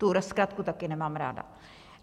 Tuhle zkratku taky nemám ráda.